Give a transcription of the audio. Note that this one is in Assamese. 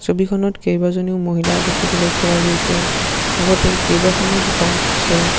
ছবিখনত কেইবাজনীও মহিলা দেখিবলৈ পোৱা গৈছে লগতে কেইবাখনো দোকান আছে।